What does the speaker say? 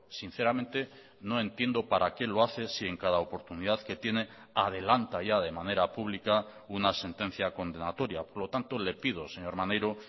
sinceramente no entiendo para qué lo hace si en cada oportunidad que tiene adelanta ya de manera pública una sentencia condenatoria por lo tanto le pido señor maneiro